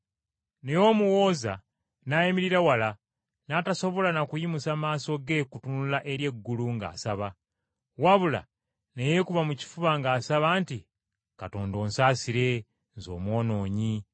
“Naye omuwooza n’ayimirira wala n’atasobola na kuyimusa maaso ge kutunula eri eggulu ng’asaba, wabula ne yeekuba mu kifuba ng’asaba nti, ‘Katonda, onsaasire, nze omwonoonyi.’